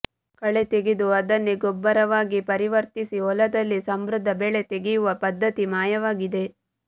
ಕಳೆ ತೆಗೆದು ಅದನ್ನೇ ಗೊಬ್ಬರವಾಗಿ ಪರಿವರ್ತಿಸಿ ಹೊಲದಲ್ಲಿ ಸಮೃದ್ಧ ಬೆಳೆ ತೆಗೆಯುವ ಪದ್ಧತಿ ಮಾಯವಾಗಿದೆ